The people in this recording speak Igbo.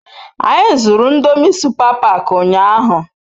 Anyi zuru ndomi supa pak unyahu